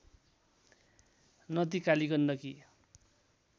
नदी कालिगण्डकी